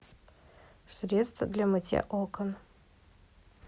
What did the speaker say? средство для мытья окон